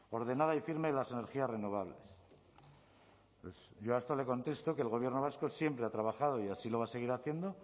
ordenada y firme de las energías renovables yo a esto le contestó que el gobierno vasco siempre ha trabajado y así lo va a seguir haciendo